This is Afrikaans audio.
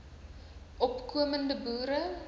opko mende boere